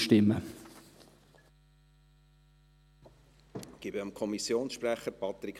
Ich gebe dem Kommissionsprecher das Wort: